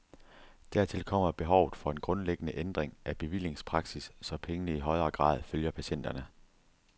Dertil kommer behovet for en grundlæggende ændring af bevillingspraksis, så pengene i højere grad følger patienterne.